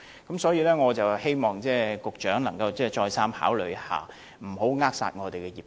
因此，我希望局長可以再三考慮，不要扼殺業界。